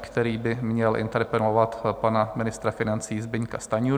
který by měl interpelovat pana ministra financí Zbyňka Stanjuru.